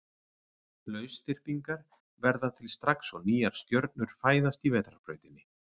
Lausþyrpingar verða til strax og nýjar stjörnur fæðast í Vetrarbrautinni.